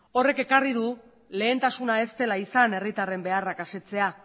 horrek ekarri du lehentasuna ez dela izan herritarren beharrak asetzea